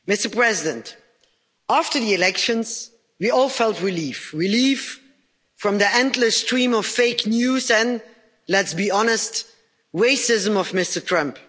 Mr President, after the elections, we all felt relief relief from the endless stream of fake news and let's be honest the racism of Mr Trump.